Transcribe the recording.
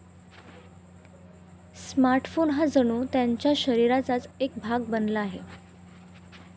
Smartphone हा जणू त्यांच्या शरीराचाच एक भाग बनला आहे.